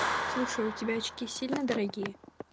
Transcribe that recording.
слушай у тебя очки сильно дорогие